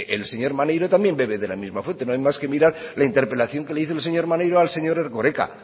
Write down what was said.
el señor maneiro también bebe de la misma fuente no hay más que mirar la interpelación que le hizo el señor maneiro al señor erkoreka